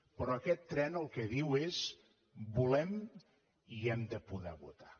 però aquest tren el que diu és volem i hem de poder votar